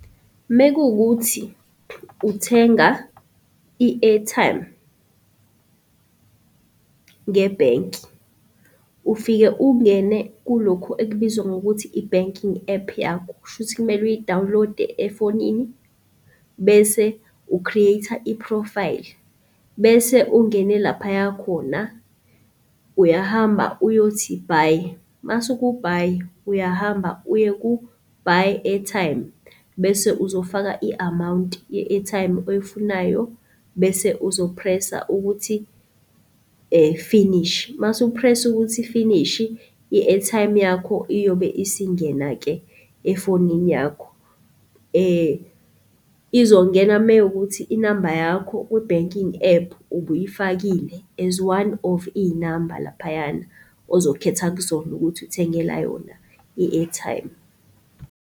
Mekuwukuthi uthenga i-airtime ngebhenki, ufike ungene kulokhu ekubizwa ngokuthi i-banking app yakho kushuthi kumele uyidawunilode efonini bese u-create-a iphrofayili bese ungene laphaya khona. Uyahamba uyothi-buy, mase uku-buy uyahamba uye ku-buy airtime bese uzofaka i-amount ye-airtime oyifunayo, bese uzo-press-a ukuthi finish. Mase u-press-a ukuthi finishi, i-airtime yakho iyobe isingena-ke efonini yakho. Izongena mewukuthi i-number yakho kwi-banking app ubuyifakile as one of iy-number laphayana ozokhetha kuzona ukuthi uthengela yona i-airtime.